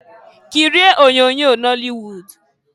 Kirie onyoonyo nọlị wud!